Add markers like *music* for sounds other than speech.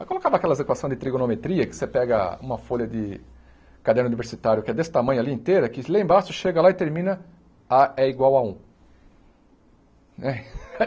Aí colocava aquelas equações de trigonometria, que você pega uma folha de caderno diversitário, que é desse tamanho ali inteira, que lá embaixo chega lá e termina á é igual a um né. *laughs*